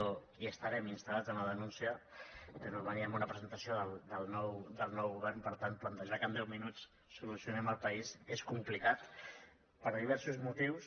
i estarem instalperò veníem a una presentació del nou govern per tant plantejar que en deu minuts solucionem el país és complicat per diversos motius